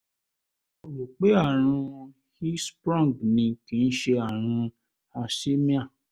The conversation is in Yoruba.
mo rò pé àrùn hirschsprung ni kì í ṣe àrùn hersheimer